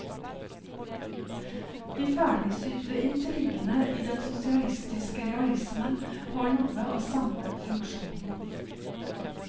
De ferdigsydde intrigene i den sosialistiske realismen har noe av samme funksjonen.